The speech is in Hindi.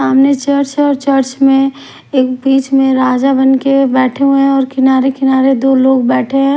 सामने चर्च है और चर्च में एक बीच में राजा बन के बैठे हुए हैं और किनारे किनारे दो लोग बैठे हैं।